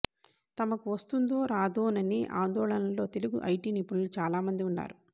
తమకు వస్తుందో రాదోననే ఆందోళనలో తెలుగు ఐటీ నిపుణులు చాలామంది ఉన్నారు